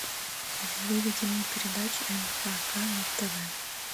выведи мне передачу нхк на тв